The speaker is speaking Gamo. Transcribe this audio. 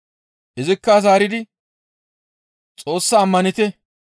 Izikka zaaridi, «Xoossa ammanite.